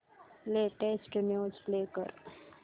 latest news play कर